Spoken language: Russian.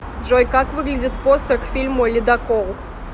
джой как выглядит постер к фильму ледокол